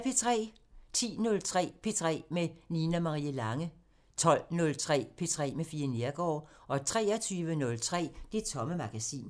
10:03: P3 med Nina Marie Lange 12:03: P3 med Fie Neergaard 23:03: Det Tomme Magasin